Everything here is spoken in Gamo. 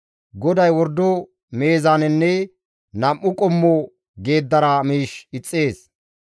GODAY wordo meezaanenne nam7u qommo geeddara miish ixxees.